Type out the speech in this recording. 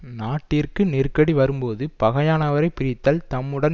நாட்டிற்கு நெருக்கடி வரும்போது பகையானவரைப் பிரித்தல் தம்முடன்